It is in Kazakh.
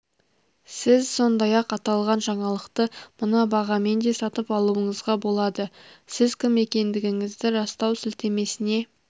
сіз сондай-ақ аталған жаңалықты мына бағамен де сатып алуыңызға болады сіз кім екендігіңізді растау сілтемесіне